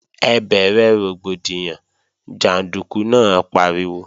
Ẹ bẹ̀rẹ̀ rògbòdìyàn, jàndúkú náà pariwo!